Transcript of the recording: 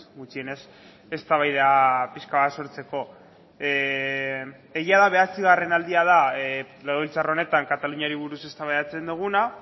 gutxienez eztabaida pixka bat sortzeko egia da bederatzigarren aldia da legebiltzar honetan kataluniari buruz eztabaidatzen duguna